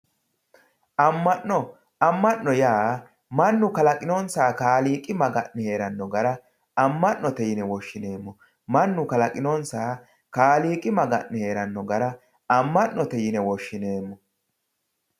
Amma'no amma'no yaa mannu kalaqinonsaha kaaliiqi maga'ne heeranno gara amma'note yine woshshineemmo mannu kaaliiqi maga'ne heeranno gara amma'note yine woshshineemmo